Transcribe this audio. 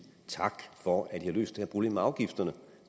tak for at vi har løst det her problem med afgifterne